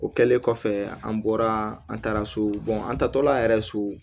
O kɛlen kɔfɛ an bɔra an taara so an taatɔla yɛrɛ so